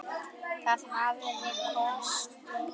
Það hafði kosti.